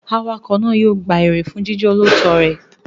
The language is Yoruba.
Awakọ̀ náà yóò gba èrè fún jíjẹ́ olóòótọ́ rẹ̀.